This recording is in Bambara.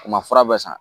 U ma fura bɛɛ san